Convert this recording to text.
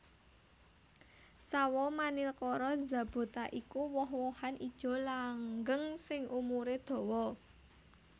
Sawo Manilkara zapota iku woh wohan ijo langgeng sing umuré dawa